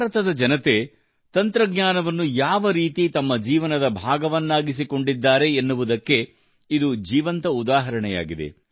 ಭಾರತದ ಜನತೆ ತಂತ್ರಜ್ಞಾನವನ್ನು ಯಾವರೀತಿ ತಮ್ಮ ಜೀವನದ ಭಾಗವನ್ನಾಗಿಸಿಕೊಂಡಿದ್ದಾರೆ ಎನ್ನುವುದಕ್ಕೆ ಇದು ಜೀವಂತ ಉದಾಹರಣೆಯಾಗಿದೆ